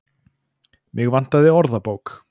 Mig vantaði orðabók.